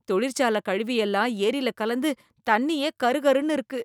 தொழிற்சாலை கழிவு எல்லாம் ஏரியில கலந்து தண்ணியே கருகருன்னு இருக்கு.